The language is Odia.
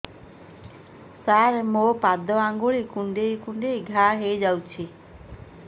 ସାର ମୋ ପାଦ ଆଙ୍ଗୁଳି କୁଣ୍ଡେଇ କୁଣ୍ଡେଇ ଘା ହେଇଯାଇଛି